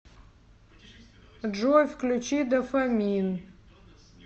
джой включи дофамин